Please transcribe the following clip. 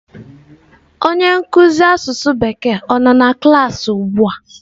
Onye nkuzi asụsụ bekee ọ nọ na klaasị ugbua?